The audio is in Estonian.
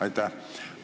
Aitäh!